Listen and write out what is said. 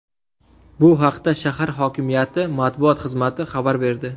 Bu haqda shahar hokimiyati matbuot xizmati xabar berdi .